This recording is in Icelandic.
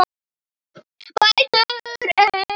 Betur en ég?